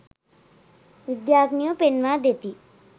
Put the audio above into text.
විද්‍යාඥයෝ පෙන්වා දෙති.